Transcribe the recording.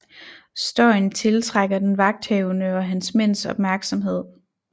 Støjen tiltrækker den vagthavende og hans mænds opmærksomhed